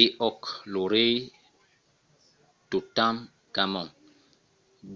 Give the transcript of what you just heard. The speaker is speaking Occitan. e òc! lo rei totankhamon